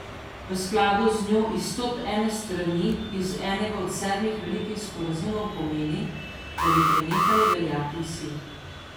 V skladu z njo izstop ene strani iz enega od sedmih velikih sporazumov pomeni, da bi prenehali veljati vsi.